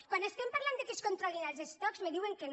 quan estem parlant que es controlin els estocs em diuen que no